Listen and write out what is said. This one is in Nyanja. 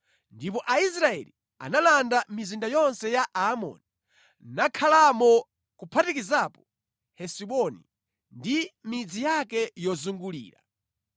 Ndipo Aisraeli analanda mizinda yonse ya Aamori, nakhalamo kuphatikizapo Hesiboni ndi midzi yake yozungulira.